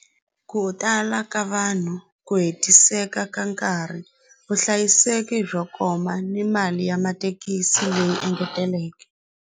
Ku tala ka vanhu ku hetiseka ka nkarhi vuhlayiseki byo koma ni mali ya mathekisi leyi engeteleke.